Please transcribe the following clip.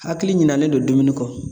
Hakili ɲinanen don dumuni kɔ.